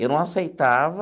Eu não aceitava.